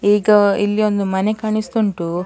ಈಗ ಇಲ್ಲಿ ಒಂದು ಮನೆ ಕಾಣಿಸ್ತಾ ಉಂಟು.